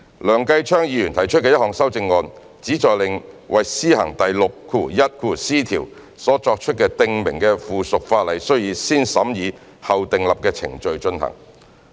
梁繼昌議員提出的一項修正案，旨在令為施行第 61c 條所作出的訂明的附屬法例須以"先審議後訂立"的程序進行。